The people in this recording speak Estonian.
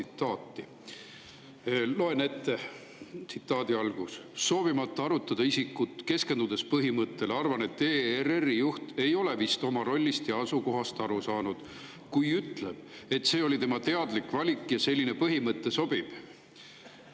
Ma loen teile tsitaadi ette: "Soovimata arutada isikut, keskendudes siiski põhimõttele, arvan, et ERRi juht ei ole vist oma rollist ja asukohast aru saanud, kui ütleb, et see oli tema teadlik valik ja selline põhimõte sobib.